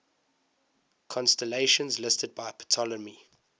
constellations listed by ptolemy